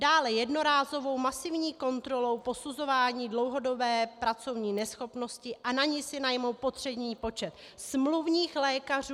Dále jednorázovou masivní kontrolu posuzování dlouhodobé pracovní neschopnosti a na ni si najmou potřebný počet smluvních lékařů.